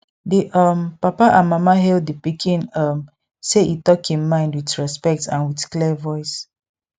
di um papa and mama hail di pikin um say e talk im mind with respect and with clear voice